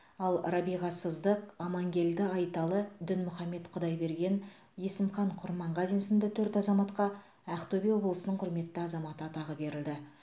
ал рабиға сыздық амангелді айталы дінмұхаммед құдайберген есімхан құрманғазин сынды төрт азаматқа ақтөбе облысының құрметті азаматы атағы берілді